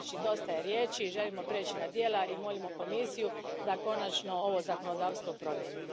Znači, dosta je riječi, želimo prijeći na djela i molimo Komisiju da konačno ovo zakonodavstvo promijeni.